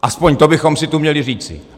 Aspoň to bychom si tu měli říci.